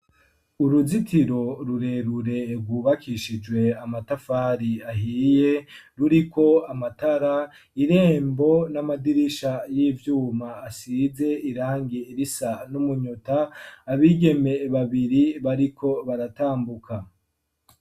Uruzitiro rurerurerwubakishijwe amatafari ahiye ruriko amatara irembo n'amadirisha y'ivyuma asize irangi irisa n'umunyota abigeme babiri bariko baratambuka.